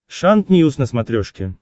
шант ньюс на смотрешке